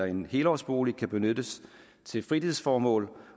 en helårsbolig kan benyttes til fritidsformål